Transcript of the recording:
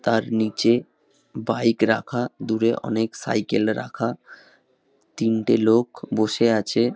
তার নিচে বাইক রাখা। দূরে অনেক সাইকেল রাখা। তিনটে লোক বসে আছে |